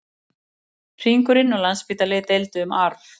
Hringurinn og Landspítali deildu um arf